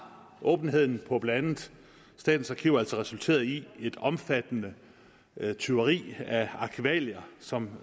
åbenheden på blandt andet statens arkiver resulteret i et omfattende tyveri af arkivalier som